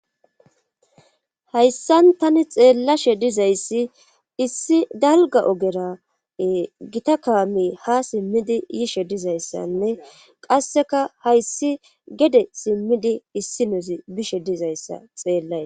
hayssan tani xeellashe dizayssi issi dalga ogera gita kaami ha simmidi yishe dizayssanne qasseka hayssi gede simmidi issi nozi bishe dizayssa xeellay